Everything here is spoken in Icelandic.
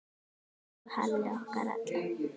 Elsku Halli okkar allra.